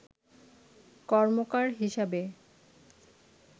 কর্মকার হিসাবে